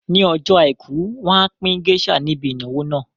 Ní ọjọ́ àìkú, wọn á pín géésà níbi ìnáwó náà